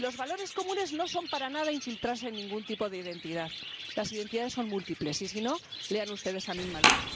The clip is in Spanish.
Y los valores comunes no son para nada infiltrarse en ningún tipo de identidad. Las identidades son múltiples y, si no, lean ustedes a Amin Maalouf.